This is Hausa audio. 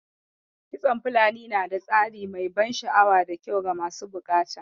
Kitson fulani na da tsari mai ban sha'awa da kyau ga masu buƙata